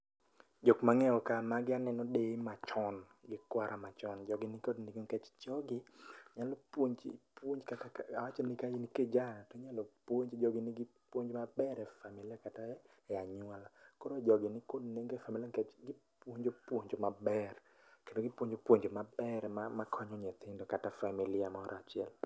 Jok mangeyo ka ,magi aneno deye machon, gi kwara machon. Jogi nikod nengo nikech jogi nyalo puonji puonj kata ka, awach ka in kijana, inyalo puonji, jogi nigi puonj maber e familia kata e anyuola. Koro jogi nikod nengo e familia nikech gipuonjo puonj maber kendo gipuono puonj maber makonyo nyithindo kata familia moro achiel